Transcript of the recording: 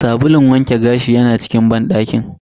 Sabulun wanke gashi yana cikin banɗakin.